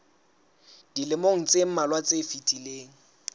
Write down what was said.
dilemong tse mmalwa tse fetileng